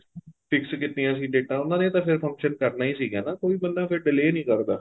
fix ਕੀਤੀਆਂ ਸੀ ਡੇਟਾਂ ਉਹਨਾ ਨੇ ਤਾਂ ਫ਼ੇਰ function ਕਰਨਾ ਹੀ ਸੀਗਾ ਨਾ ਕੋਈ ਬੰਦਾ ਫ਼ੇਰ delay ਨਹੀਂ ਕਰਦਾ